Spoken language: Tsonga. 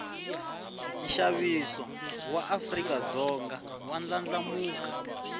nshaviso waafrikadzonga wandlandlamuka